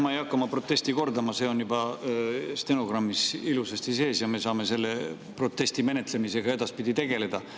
Ma ei hakka oma protesti kordama, see on juba stenogrammis ilusasti sees ja me saame selle protesti menetlemisega edaspidi tegeleda.